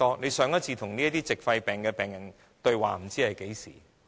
局長上次與這些矽肺病患者對話是在何時？